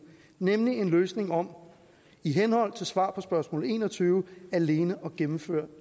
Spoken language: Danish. nemlig en løsning om i henhold til svar på spørgsmål en og tyve alene at gennemføre